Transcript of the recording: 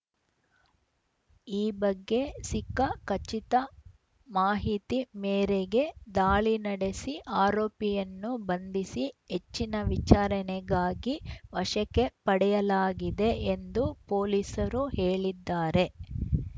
ಈ ಬಗ್ಗೆ ಸಿಕ್ಕ ಖಚಿತ ಮಾಹಿತಿ ಮೇರೆಗೆ ದಾಳಿ ನಡೆಸಿ ಆರೋಪಿಯನ್ನು ಬಂಧಿಸಿ ಹೆಚ್ಚಿನ ವಿಚಾರಣೆಗಾಗಿ ವಶಕ್ಕೆ ಪಡೆಯಲಾಗಿದೆ ಎಂದು ಪೊಲೀಸರು ಹೇಳಿದ್ದಾರೆ